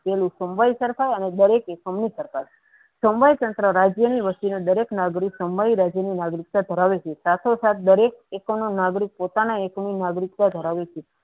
સમવાય તંત્ર રાજ્યનીન વસ્તીને દરેક નાગરિકને સમાવાય રાજ્યની નાગરિકતા ધરાવે છે સંતો સાત દરેક પોતાનું નાગરિકતાનું નાગરિકતા ધરાવે છે.